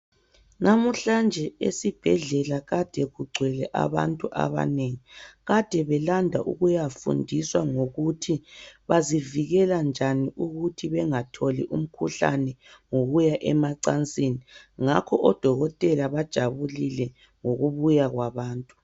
Namhlanje esibhedlela kade kugcwele abantu abanengi kade belanda ukuyafundiswa ngokuthi bazivikela njani ukuthi bengatholi umkhuhlane ngokuya emacansini ngakho odokotela bajabulile ngokubuya kwabantu.